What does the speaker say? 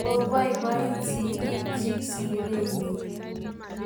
koiboiboit sigikchich sire nyin